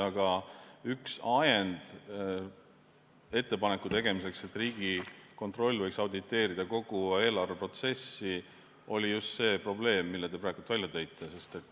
Aga üks ajendeid ettepaneku tegemiseks, et Riigikontroll võiks auditeerida kogu eelarveprotsessi, oli just see probleem, mille te praegu välja tõite.